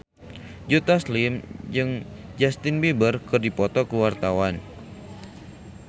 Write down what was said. Joe Taslim jeung Justin Beiber keur dipoto ku wartawan